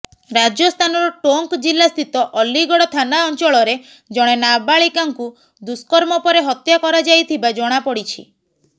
ରାଜସ୍ଥାନର ଟୋଙ୍କ୍ ଜିଲା ସ୍ଥିତ ଅଲିଗଡ଼ ଥାନା ଅଞ୍ଚଳରେ ଜଣେ ନାବାଳିକାଙ୍କୁ ଦୁଷ୍କର୍ମ ପରେ ହତ୍ୟା କରାଯାଇଥିବା ଜଣାପଡ଼ିଛି